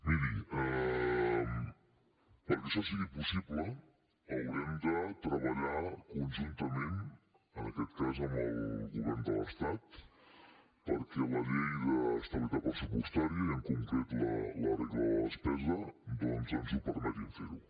miri perquè això sigui possible haurem de treballar conjuntament en aquest cas amb el govern de l’estat perquè la llei d’estabilitat pressupostària i en concret la regla de despesa doncs ens permetin fer ho